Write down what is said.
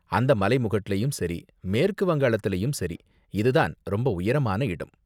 அந்த மலைமுகட்டுலயும் சரி, மேற்கு வங்காளத்திலயும் சரி, இதுதான் ரொம்ப உயரமான இடம்.